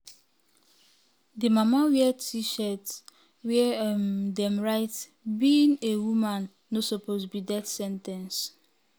di mama wear t-shirt wia um dem write "being a "being a woman no suppose be death sen ten ce".